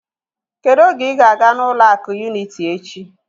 Kedu oge ị ga-aga na ụlọ akụ unịtị echi?